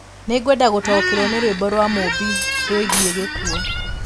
Nĩ ngwenda gũtaũkĩrwo nĩ rwĩmbo rwa Mumbi rũgiĩ gĩkuũ